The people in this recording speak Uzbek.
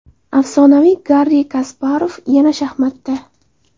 Afsonaviy Garri Kasparov yana shaxmatda.